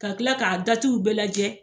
Ka kila k'a datiw bɛɛ lajɛ